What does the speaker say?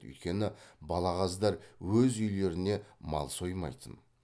өйткені балағаздар өз үйлеріне мал соймайтын